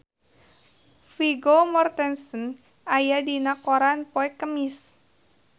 Vigo Mortensen aya dina koran poe Kemis